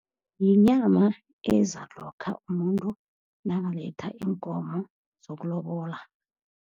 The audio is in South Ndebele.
Yinyama eza lokha umuntu nakaletha iinkomo zokulobola.